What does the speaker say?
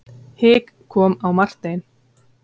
Hik kom á Martein.